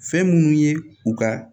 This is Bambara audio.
Fɛn minnu ye u ka